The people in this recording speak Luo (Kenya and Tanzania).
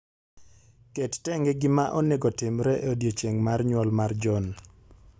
Ket tenge gima onego otimre e odiechieng' mar nyuol mar John